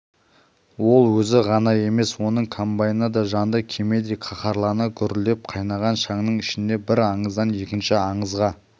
ол өзі ғана емес оның комбайны да жанды кемедей қаһарлана гүрілдеп қайнаған шаңның ішінде бір аңыздан екінші аңызға